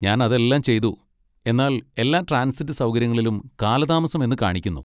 ഞാൻ അതെല്ലാം ചെയ്തു, എന്നാൽ എല്ലാ ട്രാൻസിറ്റ് സൗകര്യങ്ങളിലും കാലതാമസം എന്ന് കാണിക്കുന്നു.